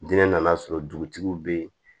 Diinɛ nan'a sɔrɔ dugutigiw bɛ yen